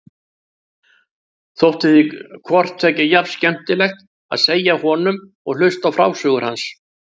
Þótti því hvort tveggja jafn skemmtilegt, að segja honum og hlusta á frásögur hans.